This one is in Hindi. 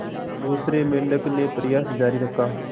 दूसरे मेंढक ने प्रयास जारी रखा